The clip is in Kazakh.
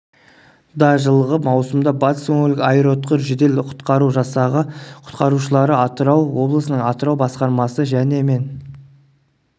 да жылғы маусымда батыс өңірлік аэроұтқыр жедел-құтқару жасағы құтқарушылары атырау облысының атырау басқармасы және мен